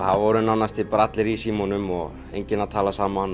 voru nánast bara allir í símunum og enginn að tala saman